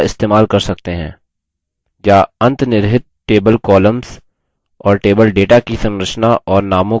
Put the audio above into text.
या अंतनिर्हित table columns और table data की संरचना और नामों को छिपा सकता है